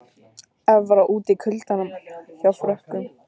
Evra úti í kuldanum hjá Frökkum